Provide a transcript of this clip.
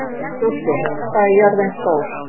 Dúddi, hvað er jörðin stór?